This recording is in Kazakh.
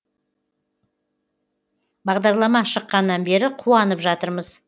бағдарлама шыққаннан бері қуанып жатырмыз